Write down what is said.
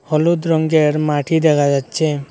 হলুদ রঙ্গের মাটি দেখা যাচ্ছে।